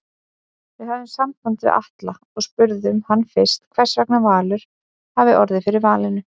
Við höfðum samband við Atla og spurðum hann fyrst hversvegna Valur hafi orðið fyrir valinu?